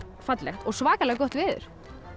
fallegt og svakalega gott veður